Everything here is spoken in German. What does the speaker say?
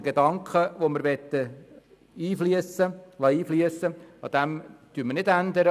Den Gedanken, welchen wir einfliessen lassen möchten, ändern wir nicht.